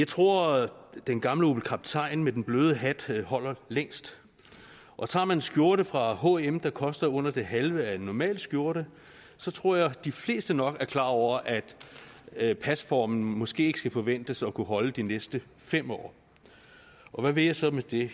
tror at den gamle opel kaptajn med den bløde hat holder længst og tager man en skjorte fra hm der koster under det halve af en normal skjorte så tror jeg de fleste nok er klar over at at pasformen måske ikke skal forventes at kunne holde de næste fem år hvad vil jeg så med det